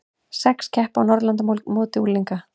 Sex keppa á Norðurlandamóti unglinga